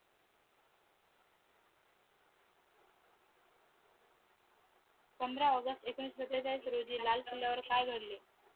पंधरा ऑगस्ट एकोणीशे सातेचाळीस रोजी लाल किल्ल्या वर काई घडले